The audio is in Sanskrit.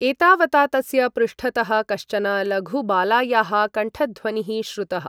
एतावता तस्य पृष्ठतः कश्चन लघुबालायाः कण्ठध्वनिः श्रुतः।